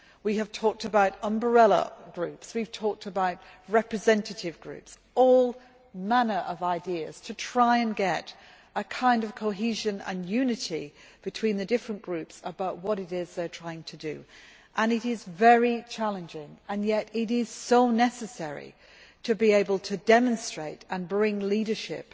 We have talked about umbrella groups, we have talked about representative groups all manner of ideas to try and get some kind of cohesion and unity between the different groups about what it is they are trying to do. It is very challenging, and yet it is so necessary to be able to demonstrate and bring leadership